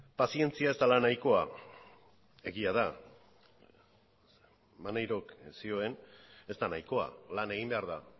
pazientzia ez dela nahikoa egia da maneirok zioen ez da nahikoa lan egin behar da